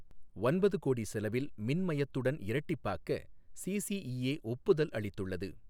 ஒன்பது கோடி செலவில் மின்மயத்துடன் இரட்டிப்பாக்க சிசிஈஏ ஒப்புதல் அளித்துள்ளது